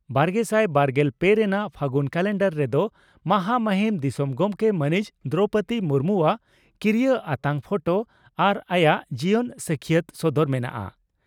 ᱵᱟᱨᱜᱮᱥᱟᱭ ᱵᱟᱨᱜᱮᱞ ᱯᱮ ᱨᱮᱱᱟᱜ ᱯᱷᱟᱹᱜᱩᱱ ᱠᱟᱞᱮᱱᱰᱟᱨ ᱨᱮᱫᱚ ᱢᱟᱦᱟᱢᱚᱦᱤᱱ ᱫᱤᱥᱚᱢ ᱜᱚᱢᱠᱮ ᱢᱟᱹᱱᱤᱡ ᱫᱨᱚᱣᱯᱚᱫᱤ ᱢᱩᱨᱢᱩᱣᱟᱜ ᱠᱤᱨᱤᱭᱟᱹ ᱟᱛᱟᱝ ᱯᱷᱚᱴᱚ ᱟᱨ ᱟᱭᱟᱜ ᱡᱤᱭᱚᱱ ᱥᱟᱹᱠᱷᱤᱭᱟᱹᱛ ᱥᱚᱫᱚᱨ ᱢᱮᱱᱟᱜᱼᱟ ᱾